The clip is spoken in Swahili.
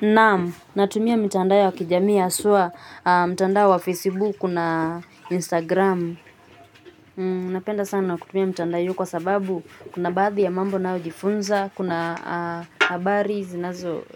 Naam, natumia mitandao ya kijami haswa mtandao wa Facebook na Instagram. Napenda sana kutumia mitandao hiyo kwa sababu kuna baadhi ya mambo najifunza, kuna habari